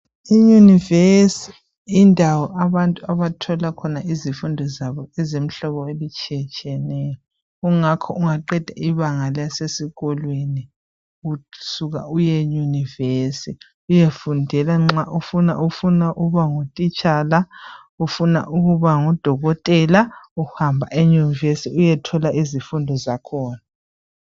I university yindawo lapho abantu abathola khona umfundo etshiyetshiyeneyo ingakho ungaqade abangalakho esikolweni usuka uye university uyefundela nxa ufuna ukuba ngthitshala ufuna ukuba ngudokotela uhamba e university uyethola izifundo zakhona